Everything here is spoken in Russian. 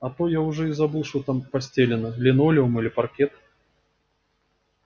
а то я уже и забыл что там постелено линолеум или паркет